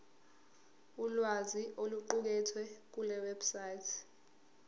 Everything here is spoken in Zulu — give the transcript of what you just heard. ulwazi oluqukethwe kulewebsite